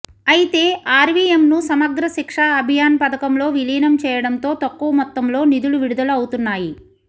అయితే ఆర్వీఎంను సమగ్ర శిక్ష అభియాన్ పథకంలో విలీనం చేయడంతో తక్కువ మొత్తంలో నిధులు విడుదల అవుతున్నాయి